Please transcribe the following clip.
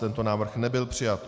Tento návrh nebyl přijat.